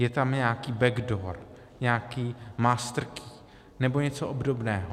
Je tam nějaký backdoor, nějaký master key nebo něco obdobného.